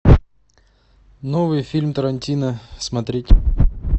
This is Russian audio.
новый фильм тарантино смотреть